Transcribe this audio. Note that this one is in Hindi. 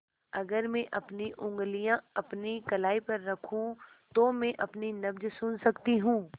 अगर मैं अपनी उंगलियाँ अपनी कलाई पर रखूँ तो मैं अपनी नब्ज़ सुन सकती हूँ